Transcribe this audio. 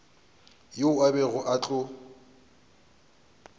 yeo a bego a tlo